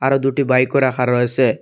আরো দুটি বাইকও রাখা রয়েছে।